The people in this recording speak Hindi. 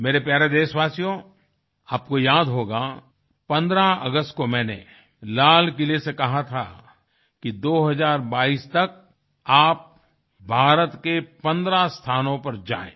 मेरे प्यारे देशवासियो आपको याद होगा 15 अगस्त को मैंने लाल किले से कहा था कि 2022 तक आप भारत के 15 स्थानों पर जाएँ